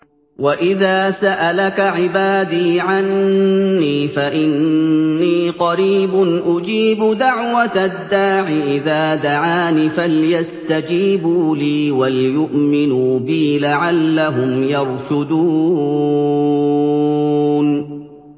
وَإِذَا سَأَلَكَ عِبَادِي عَنِّي فَإِنِّي قَرِيبٌ ۖ أُجِيبُ دَعْوَةَ الدَّاعِ إِذَا دَعَانِ ۖ فَلْيَسْتَجِيبُوا لِي وَلْيُؤْمِنُوا بِي لَعَلَّهُمْ يَرْشُدُونَ